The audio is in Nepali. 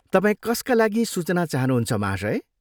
तपाईँ कसका लागि सूचना चाहनुहुन्छ, महाशय?